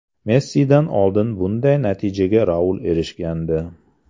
Messidan oldin bunday natijaga Raul erishgandi.